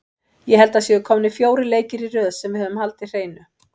Ég held að það séu komnir fjórir leikir í röð sem við höfum haldið hreinu.